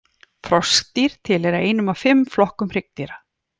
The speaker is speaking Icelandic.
Froskdýr tilheyra einum af fimm flokkum hryggdýra.